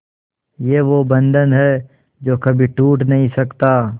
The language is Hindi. ये वो बंधन है जो कभी टूट नही सकता